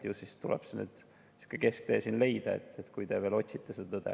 Ju siis tuleb siin kesktee leida, kui te veel otsite seda tõde.